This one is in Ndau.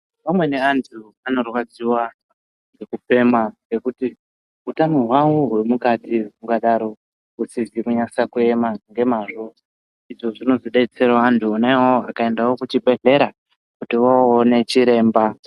Vamweni vanthu vanorwadziwa ngekufema kuti utano hwawo hwemukati hungadaro husisizi kunasa kuema ngemazvo izvo zvinodetserawo vanthu vonawo vakaendawo kuchibhedhlera kuti one chiremba.